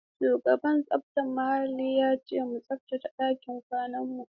Shugaban tsaftar muhalli ya ce mu tsaftace ɗakin kwanan mu.